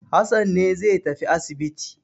Hassan ne zai tafi asibiti.